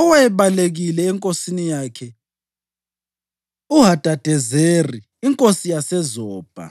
owayebalekile enkosini yakhe uHadadezeri inkosi yaseZobha.